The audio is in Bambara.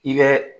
I bɛ